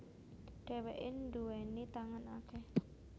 Dhèwèké nduwèni tangan akèh